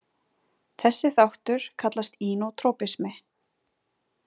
Þessi þáttur kallast inotropismi.